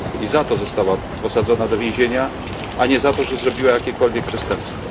I za to została posadzona do więzienia, a nie za to, że popełniła jakiekolwiek przestępstwo.